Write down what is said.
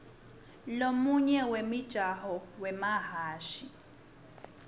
lomunye wemijaho wemahhashi